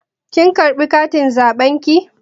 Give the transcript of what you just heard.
Kin karɓa katin zaɓen ki?